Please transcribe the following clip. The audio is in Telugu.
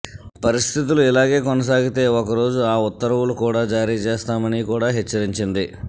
పరిస్థితులు ఇలాగే కొనసాగితే ఒకరోజు ఆ ఉత్తర్వులు కూడా జారీచేస్తామని కూడా హెచ్చరించింది